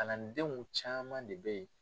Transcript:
Kalandenw caman de bɛ ye.